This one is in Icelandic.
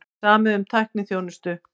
Samið um tækniþjónustu